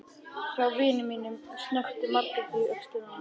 Hjá vini mínum, snökti Margrét í öxlina á henni.